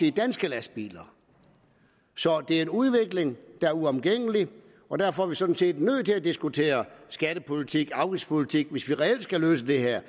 i danske lastbiler det er en udvikling der er uomgængelig og derfor er vi sådan set nødt til at diskutere skattepolitik og afgiftspolitik hvis vi reelt skal løse det her